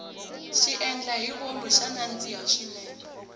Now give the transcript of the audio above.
xiendlahivomu xa nandzika swinene